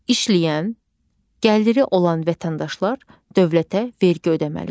İşləyən, gəliri olan vətəndaşlar dövlətə vergi ödəməlidir.